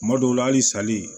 Kuma dɔw la hali sali